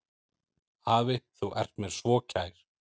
Afi, þú ert mér svo kær.